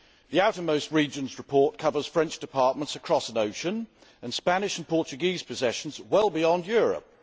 The outermost regions report covers French departments across an ocean, and Spanish and Portuguese possessions well beyond Europe.